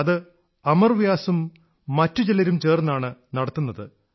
അത് അമർ വ്യാസും മറ്റു ചിലരും ചേർന്നാണു നടത്തുന്നത്